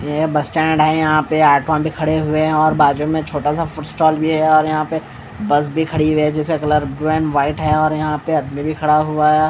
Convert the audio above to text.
ये bus stand है यहाँ पे ऑटो भी खड़े हुए हैं और बाजू में छोटा सा फूट्स स्टॉल भी है और यहाँ पे बस भी खड़ी हुई है जिसका कलर वैन वाइट है और यहाँ पे आदमी भी खड़ा हुआ है।